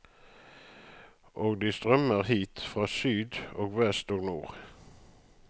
Og de strømmer hit, fra syd og vest og nord.